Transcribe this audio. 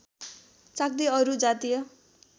चाख्दै अरू जातीय